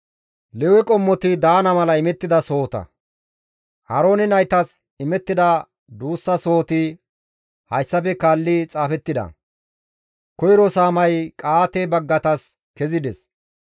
Aaroone naytas imettida duussa sohoti hayssafe kaalli xaafettida; koyro saamay Qa7aate baggatas kezides;